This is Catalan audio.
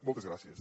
moltes gràcies